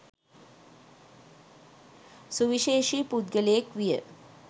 සුවිශේෂී පුද්ගලයෙක් විය.